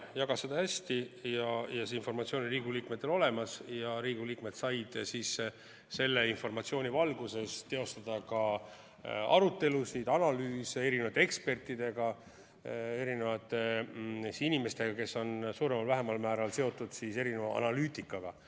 Ta jagas seda hästi, Riigikogu liikmetel oli informatsioon olemas ja Riigikogu liikmed said selle informatsiooni valguses pidada arutelusid, analüüsida eri ekspertidega, erinevate inimestega, kes on suuremal või vähemal määral seotud erineva analüütikaga.